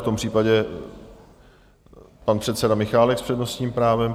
V tom případě pan předseda Michálek s přednostním právem.